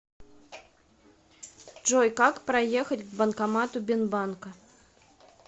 джой как проехать к банкомату бинбанка